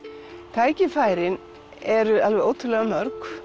tækifærin eru alveg ótrúlega mörg